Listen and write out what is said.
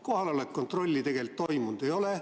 Kohaloleku kontrolli tegelikult tehtud ei ole.